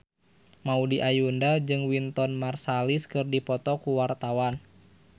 Maudy Ayunda jeung Wynton Marsalis keur dipoto ku wartawan